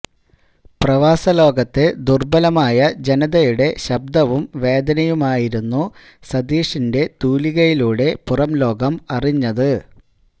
പ്രവാസലോകത്തെ ദുർബലമായ ജനതയുടെ ശബ്ദവും വേദനയുമായിരുന്നു സതീഷിന്റെ തൂലികയിലൂടെ പുറംലോകം അറിഞ്ഞത്